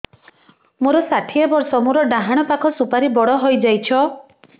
ମୋର ଷାଠିଏ ବର୍ଷ ମୋର ଡାହାଣ ପାଖ ସୁପାରୀ ବଡ ହୈ ଯାଇଛ